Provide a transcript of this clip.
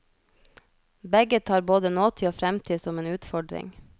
Begge tar både nåtid og fremtid som en utfordring.